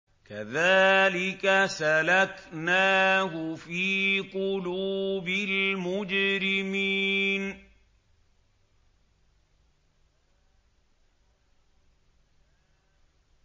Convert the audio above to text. كَذَٰلِكَ سَلَكْنَاهُ فِي قُلُوبِ الْمُجْرِمِينَ